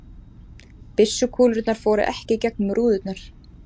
Byssukúlurnar fóru ekki í gegnum rúðurnar